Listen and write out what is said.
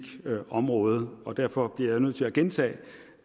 her område med og derfor bliver jeg nødt til at gentage